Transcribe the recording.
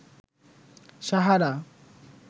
Sahara